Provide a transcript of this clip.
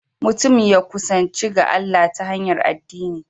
Mutum ya kusanci ga Allah ta hanyar addini